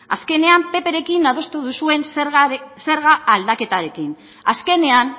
azkenean pprekin adostu duzuen zerga aldaketarekin azkenean